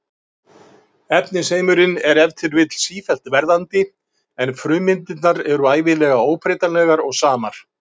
Efnisheimurinn er ef til vill sífellt verðandi en frummyndirnar eru ævinlega óbreytanlegar og samar.